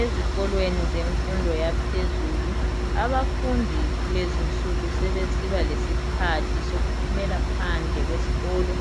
Ezikolweni zemfundo yaphezulu, abafundi kulezinsuku sebesiba lesikhathi sokuphumela phandle kwesikolo